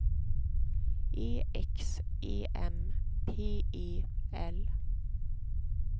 E X E M P E L